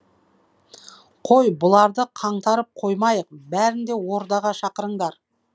қой бұларды қаңтарып қоймайық бәрін де ордаға шақырыңдар